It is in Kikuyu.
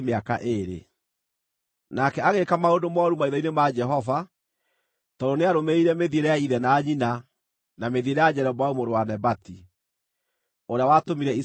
Nake agĩĩka maũndũ mooru maitho-inĩ ma Jehova, tondũ nĩarũmĩrĩire mĩthiĩre ya ithe na nyina na mĩthiĩre ya Jeroboamu mũrũ wa Nebati, ũrĩa watũmire Isiraeli mehie.